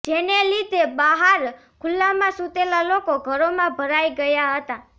જેને લીધે બહાર ખુલ્લામાં સુતેલા લોકો ઘરોમાં ભરાઈ ગયા હતા